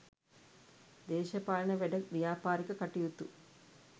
දේශපාලන වැඩ ව්‍යාපාරික කටයුතු